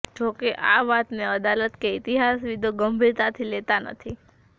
જોકે આ વાતને અદાલત કે ઈતિહાસવિદો ગંભીરતાથી લેતા નથી